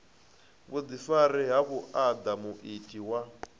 vhuḓifari ha vhuaḓa muiti wa